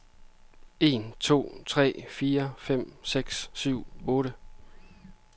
Tester en to tre fire fem seks syv otte.